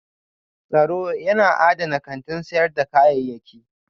Tsaro yana adana kantin sayar da kayayyaki